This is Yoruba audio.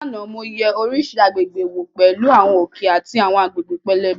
Lánàá, mo yẹ oríṣiríṣi àgbègbè wò pẹ̀lú àwọn òkè àti àwọn agbègbè pẹlẹbẹ.